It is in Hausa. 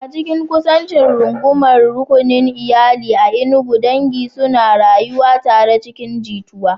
A cikin kusancin rungumar rukunin iyali a Enugu, dangi suna rayuwa tare cikin jituwa.